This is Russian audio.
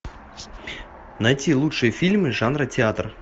найти лучшие фильмы жанра театр